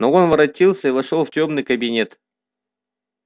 но он воротился и вошёл в тёмный кабинет